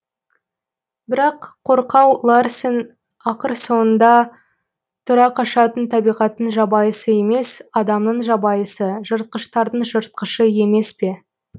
бірақ қорқау ларсен ақыр соңында тұра қашатын табиғаттың жабайысы емес адамның жабайысы жыртқыштардың жыртқышы емес пе